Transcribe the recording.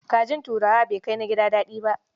Kajin turawa ba kai na gida daɗi ba.